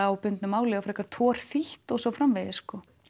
á bundnu máli og frekar torþýtt og svo framvegis